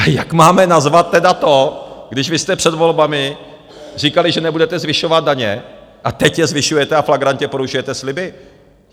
A jak máme nazvat tedy to, když vy jste před volbami říkali, že nebudete zvyšovat daně a teď je zvyšujete a flagrantně porušujete sliby?